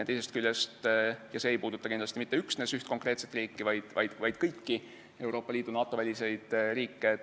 See teema ei puuduta kindlasti mitte üksnes üht konkreetset riiki, vaid kõiki Euroopa Liidu ja NATO väliseid riike.